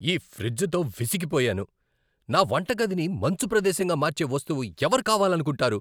ఈ ఫ్రిజ్తో విసిగిపోయాను. నా వంటగదిని మంచు ప్రదేశంగా మార్చే వస్తువు ఎవరు కావాలనుకుంటారు?